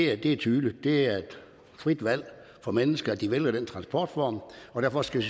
er tydeligt det er et frit valg for mennesker at de vælger den transportform og derfor skal